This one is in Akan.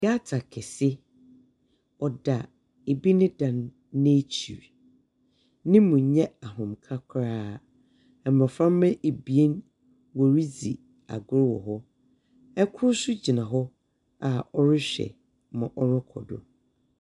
Gata kɛse ɔda ebi ne dan n'akyiri. Ne mu nnyɛ ahomka koraa. Ɛmmɔfra ba ebien wɔredzi agro wɔ hɔ. Ɛkro so gyina hɔ a ɔrehwɛ ma ɔɔkodo.